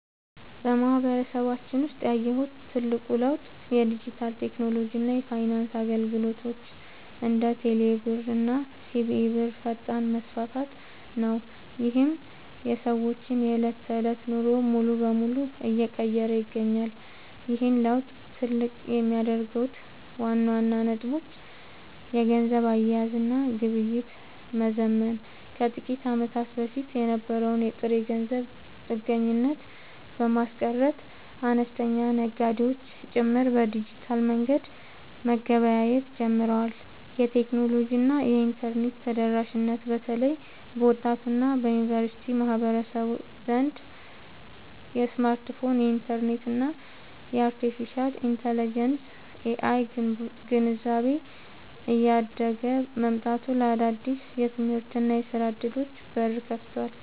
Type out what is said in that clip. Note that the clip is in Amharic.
በማህበረሰባችን ውስጥ ያየሁት ትልቁ ለውጥ የዲጂታል ቴክኖሎጂ እና የፋይናንስ አገልግሎቶች (እንደ ቴሌብር እና ሲቢኢ ብር) ፈጣን መስፋፋት ነው፤ ይህም የሰዎችን የዕለት ተዕለት ኑሮ ሙሉ በሙሉ እየቀየረ ይገኛል። ይህን ለውጥ ትልቅ የሚያደርጉት ዋና ዋና ነጥቦች - የገንዘብ አያያዝ እና ግብይት መዘመን፦ ከጥቂት ዓመታት በፊት የነበረውን የጥሬ ገንዘብ ጥገኝነት በማስቀረት፣ አነስተኛ ነጋዴዎች ጭምር በዲጂታል መንገድ መገበያየት ጀምረዋል። የቴክኖሎጂ እና የኢንተርኔት ተደራሽነት፦ በተለይ በወጣቱ እና በዩኒቨርሲቲ ማህበረሰብ ዘንድ የስማርትፎን፣ የኢንተርኔት እና የአርቴፊሻል ኢንተለጀንስ (AI) ግንዛቤ እያደገ መምጣቱ ለአዳዲስ የትምህርትና የሥራ ዕድሎች በር ከፍቷል።